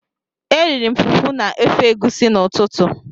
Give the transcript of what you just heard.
Eriri m fufu na ofe egusi n'ụtụtụ.